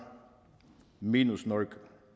minus norge